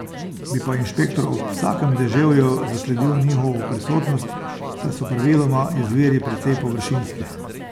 Bi pa inšpektor ob vsakem deževju zasledil njihovo prisotnost, saj so praviloma izviri precej površinski.